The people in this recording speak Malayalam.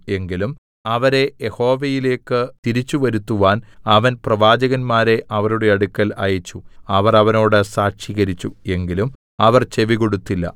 എങ്കിലും അവരെ യഹോവയിലേക്ക് തിരിച്ചുവരുത്തുവാൻ അവൻ പ്രവാചകന്മാരെ അവരുടെ അടുക്കൽ അയച്ചു അവർ അവരോട് സാക്ഷീകരിച്ചു എങ്കിലും അവർ ചെവികൊടുത്തില്ല